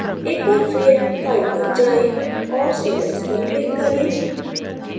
एक बार फिर file पर जाएँ और save as पर click करें